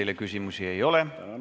Teile küsimusi ei ole.